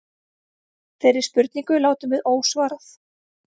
Þeirri spurningu látum við ósvarað.